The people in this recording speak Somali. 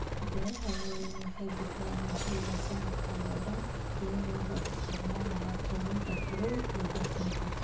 Beeraha waaweyni waxay bixiyaan cunto sanadka oo dhan iyadoo la isticmaalayo kaydinta qabow iyo dhoofinta.